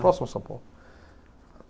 Próximo a São Paulo.